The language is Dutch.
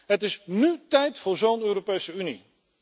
Het is nú tijd voor zo'n Europese Unie.